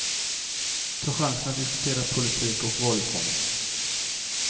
Ta chansen att diskutera politik och valutgången.